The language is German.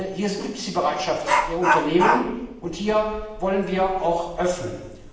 Hier gibt es die Bereitschaft der Unternehmen, und hier wollen wir auch öffnen.